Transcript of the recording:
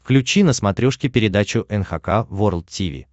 включи на смотрешке передачу эн эйч кей волд ти ви